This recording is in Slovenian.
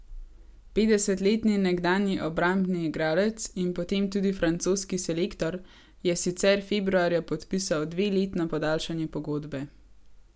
Petdesetletni nekdanji obrambni igralec in potem tudi francoski selektor je sicer februarja podpisal dveletno podaljšanje pogodbe.